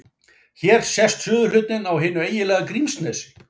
Hér sést suðurhlutinn á hinu eiginlega Grímsnesi.